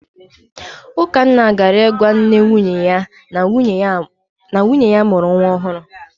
Ukanna gara ịgwa nne nwunye ya na nwunye ya mụrụ nwa ọhụrụ.